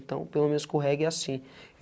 Então, pelo menos com o reggae é assim.